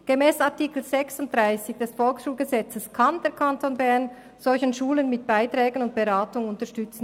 Gemäss Artikel 63 des Volksschulgesetzes (VSG) kann der Kanton Bern solche Schulen mit Beiträgen und Beratung unterstützen.